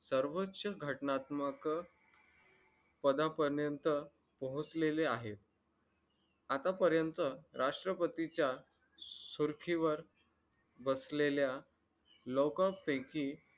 सर्वोच्च घटनात्मक पदापर्यंत पोहोचलेले आहेत आतापर्यंत राष्ट्रपतीच्या सुरखीवर बसलेल्या